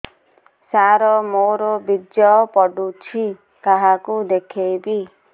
ସାର ମୋର ବୀର୍ଯ୍ୟ ପଢ଼ୁଛି କାହାକୁ ଦେଖେଇବି